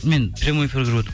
мен прямой эфир көріп